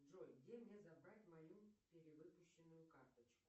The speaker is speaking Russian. джой где мне забрать мою перевыпущенную карточку